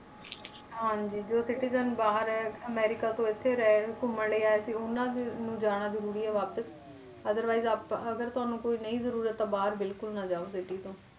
ਹਾਂਜੀ ਜੋ citizen ਬਾਹਰ ਹੈ ਅਮਰੀਕਾ ਤੋਂ ਇੱਥੇ ਰਹਿ ਘੁੰਮਣ ਲਈ ਆਏ ਸੀ, ਉਹਨਾਂ ਦੀ ਨੂੰ ਜਾਣਾ ਜ਼ਰੂਰੀ ਹੈ ਵਾਪਿਸ otherwise ਆਪਾਂ ਅਗਰ ਤੁਹਾਨੂੰ ਕੋਈ ਨਹੀਂ ਜ਼ਰੂਰਤ ਤਾਂ ਬਾਹਰ ਬਿਲਕੁਲ ਨਾ ਜਾਓ city ਤੋਂ